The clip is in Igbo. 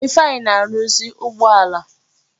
Ifeanyi na-arụzi ụgbọala.